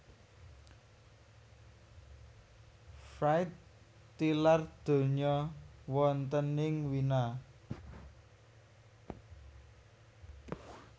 Fried tilar donya wonten ing Wina